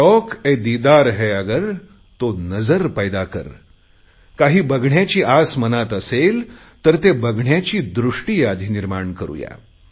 शौकएदीदार है अगर तो नजर पैदा कर काही बघण्याची आस मनात असेल तर ते बघण्याची दृष्टी आधी निर्माण करुया